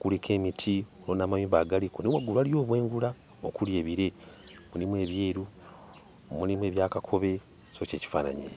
Kuliko emiti, waliwo n'amayumba agaliko naye waggulu waliyo obwengula okuli ebire; mulimu ebyeru, mulimu ebya kakobe, so ky'ekifaananyi ekyo.